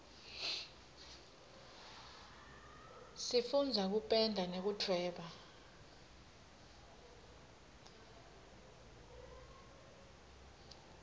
sifundza kupenda nekudvweba